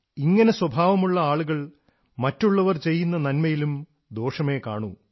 ഇങ്ങനെ സ്വഭാവമുള്ള ആളുകൾ മറ്റുള്ളവർ ചെയ്യുന്ന നന്മയിലും ദോഷമേ കാണൂ